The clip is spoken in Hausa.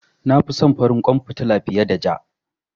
Na fi son farin kwan fitila fiye da ja.